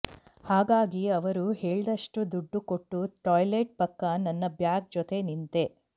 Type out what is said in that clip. ಹಾಗಾಗಿ ಅವರು ಹೇಳ್ದಷ್ಟು ದುಡ್ಡು ಕೊಟ್ಟು ಟಾಯ್ಲೆಟ್ ಪಕ್ಕ ನನ್ನ ಬ್ಯಾಗ್ ಜೊತೆ ನಿಂತೆ